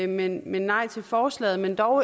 men nej til forslaget men dog